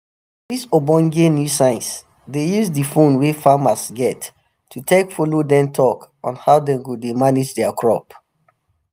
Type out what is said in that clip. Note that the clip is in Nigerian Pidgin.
dis ogbonge new science dey use di phone wey farmers get to take follow dem talk on how dem go dey manage their crop